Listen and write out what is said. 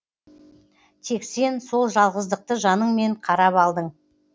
тек сен сол жалғыздықты жаныңмен қарап алдың